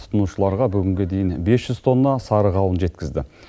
тұтынушыларға бүгінге дейін бес жүз тонна сары қауын жеткізді